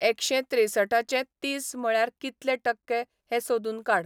एकशें त्रेंसठाचे तीस म्हळ्यार कितले टक्के हें सोदून काड